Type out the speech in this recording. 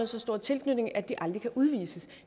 så stor en tilknytning at de aldrig kan udvises